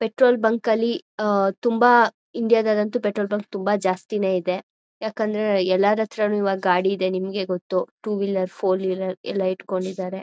petrol bunk ಅಲ್ಲಿ ಆ ತುಂಬಾ ಇಂಡಿಯಾ ದಲ್ ಅಂತೂ ಪೆಟ್ರೋಲ್ ಬಂಕ್ ತುಂಬಾ ಜಾಸ್ತಿನೇ ಇದೆ ಯಾಕಂದ್ರೆ ಎಲ್ಲಾರ್ ಹತ್ರನು ಇವಾಗ ಗಾಡಿ ಇದೆ ನಿಮಗೆ ಗೊತ್ತು ಟೂ ವಿಲರ್ ಫೋರ್ ವಿಲರ್ ಎಲ್ಲಾ ಇಟ್ಕೊಂಡಿದ್ದಾರೆ